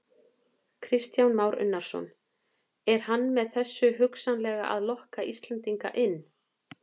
Kristján Már Unnarsson: Er hann með þessu hugsanlega að lokka Íslendinga inn?